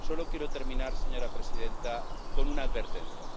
Solo quiero terminar, señora presidenta, con una advertencia.